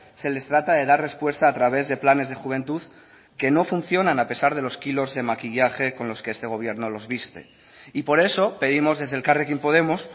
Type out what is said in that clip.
se les trata de dar respuesta a través de planes de juventud que no funcionan a pesar de los kilos de maquillaje con los que este gobierno los viste y por eso pedimos desde elkarrekin podemos